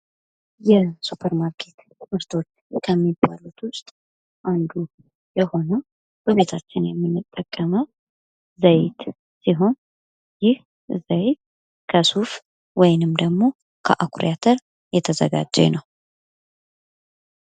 የሱፐር ማርኬት ምርቶች ከሚባሉት ውስጥ አንዱ የሆነው በቤታችን የምንጠቀመው ዘይት ሲሆን ይህ ዘይት ከሱፍ ወይንም ደግሞ ከአኩሪ አተር የተዘጋጀ ነው።